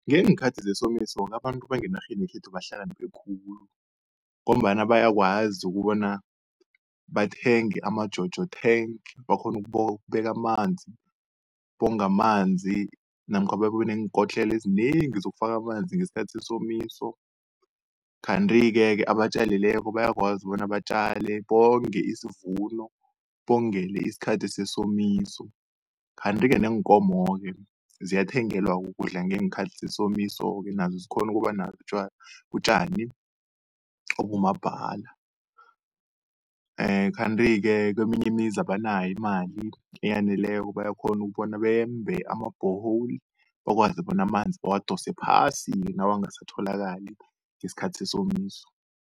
Ngeenkhathi zesomiso-ke abantu bangenarheni yekhethu bahlakaniphe khulu, ngombana bayakwazi ukubona bathenge ama-Jojo tank, bakghone ukubeka amanzi bonge amanzi namkha babe neenkotlelo ezinengi zokufaka amanzi ngesikhathi sesomiso. Kanti-ke abatjalileko bayakwazi bona batjale, bonge isivuno bongele isikhathi sesomiso. Kanti-ke neenkomo-ke ziyathengelwa ukudla ngeenkhathi zesomiso-ke nazo zikghone ukuba utjani okumabhala. Kanti-ke keminye imizi abanayo imali eyaneleko, bayakghona ukubona bembe ama-bore hole bakwazi bona amanzi bawadose phasi, nawangasatholakali ngesikhathi sesomiso.